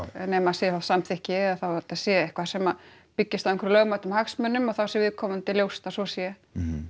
nema sé þá samþykki eða þetta sé eitthvað sem byggi á einhverjum lögmætum hagsmunum og þá sé viðkomandi ljóst að svo sé